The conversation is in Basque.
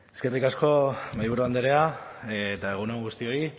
eskerrik asko mahaiburu andrea eta egun on guztioi